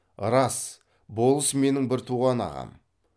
рас болыс менің бір туған ағам